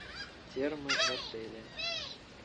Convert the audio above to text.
термы в отеле